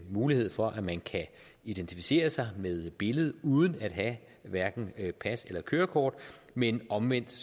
mulighed for at man kan identificere sig med billede uden at have hverken pas eller kørekort men omvendt